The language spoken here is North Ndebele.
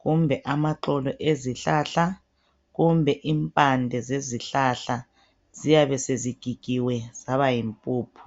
kumbe amaxolo ezihlahla kumbe impande zezihlahla ziyabe sezigigiwe zaba yimpuphu.